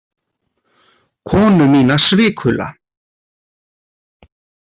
Konu mína svikula.